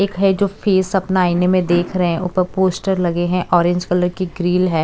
एक है जो फेस अपना आईने में देख रहे हैं ऊपर पोस्टर लगे हैं ऑरेंज कलर की ग्रिल है।